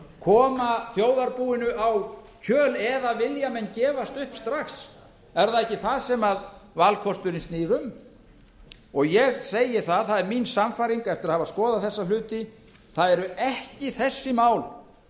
koma þjóðarbúinu á kjöl eða vilja menn gefast upp strax er það ekki það sem valkosturinn snýr um ég segi það það er mín sannfæring eftir að hafa skoðað þessa hluti það eru ekki þessi mál